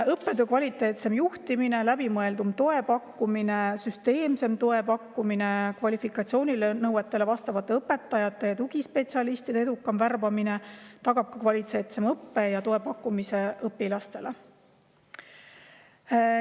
Õppetöö kvaliteetsem juhtimine, läbimõeldum ja süsteemsem toe pakkumine ning kvalifikatsiooninõuetele vastavate õpetajate ja tugispetsialistide edukam värbamine tagab kvaliteetsema õppe ja toe pakkumise õpilastele.